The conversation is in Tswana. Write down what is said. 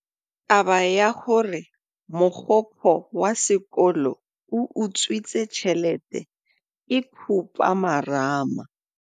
Taba ya gore mogokgo wa sekolo o utswitse tšhelete ke khupamarama.